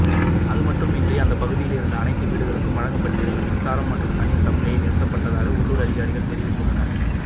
அதுமட்டுமின்றி அந்த பகுதியில் இருந்த அனைத்து வீடுகளுக்கும் வழங்கப்பட்டிருந்த மின்சாரம் மற்றும் தண்ணீர் சப்ளையும் நிறுத்தப்பட்டதாக உள்ளூர் அதிகாரிகள் தெரிவித்துள்ளனர்